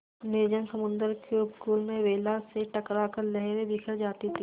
निर्जन समुद्र के उपकूल में वेला से टकरा कर लहरें बिखर जाती थीं